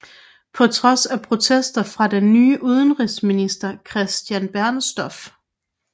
På trods af protester fra den nye udenrigsminister Christian Bernstorff